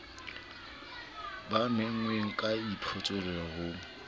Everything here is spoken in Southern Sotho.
ba menngweng ka boithaopo ho